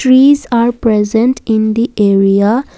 peace are present in the area.